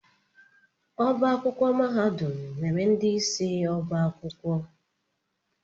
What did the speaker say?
Ọbá akwụkwọ mahadum nwere ndị isi ọ́bà akwụkwọ.